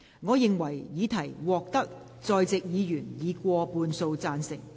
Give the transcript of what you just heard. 我認為議題獲得在席議員以過半數贊成。